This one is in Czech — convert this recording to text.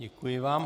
Děkuji vám.